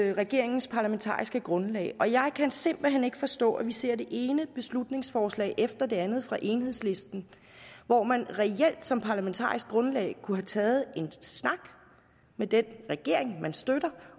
er regeringens parlamentariske grundlag og jeg kan simpelt hen ikke forstå at vi ser det ene beslutningsforslag efter det andet fra enhedslisten når man reelt som parlamentarisk grundlag kunne have taget en snak med den regering man støtter